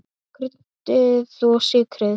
Kryddið og sykrið.